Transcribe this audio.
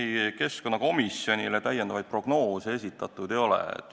Ei, keskkonnakomisjonile lisaprognoose esitatud ei ole.